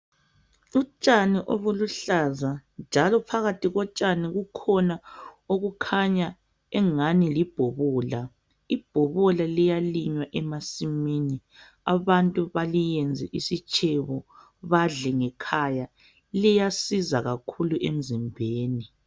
Utshani obuluhlaza njalo phakathi kotshani kukhona okukhanya engani libhobola , ibhobola liyalinywa emasimini abantu baliyenze isitshebo badle ngekhaya liyasiza kakhulu emzimbeni.